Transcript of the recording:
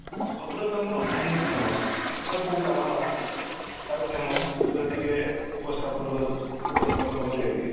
ଭଦ୍ରକ ଆମର କାହିଁକି famous ଏବଂ କୋଉ କାରଣ ପାଇଁ famous ସେଇଟା ଟିକେ ଉପସ୍ଥାପନ ଉପସ୍ଥାପନ କରିବେ କି?